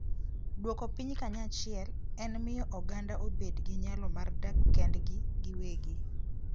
Duoko Piny Kanyachiel: En miyo oganda obed gi nyalo mar dak kendgi giwegi.